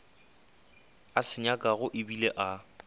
a se nyakago ebile a